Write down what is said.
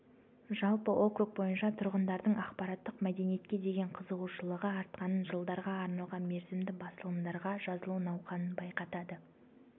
жалпы округ бойынша тұрғындардың ақпараттық мәдениетке деген қызығушылығы артқанын жылдарға арналған мерзімді басылымдарға жазылу науқаны байқатады